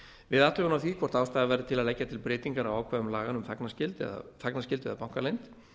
við athugun á því hvort ástæða væri til að leggja til breytingar á ákvæðum laganna um þagnarskyldu eða bankaleynd